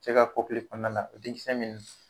Cɛ ka kɔkili kɔnɔna la o den kisɛn mini.